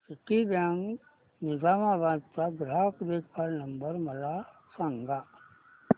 Citibank Nizamabad चा ग्राहक देखभाल नंबर मला सांगा